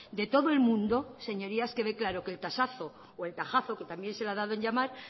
de todo el mundo señorías quede claro que el tasazo y el tajazo que también se le ha dado en llamar